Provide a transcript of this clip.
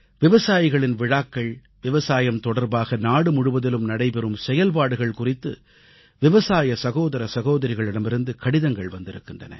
விவசாயிகளின் விழாக்கள் விவசாயம் தொடர்பாக நாடுமுழுவதிலும் நடைபெறும் செயல்பாடுகள் குறித்து விவசாய சகோதர சகோதரிகளிடமிருந்து கடிதங்கள் வந்திருக்கின்றன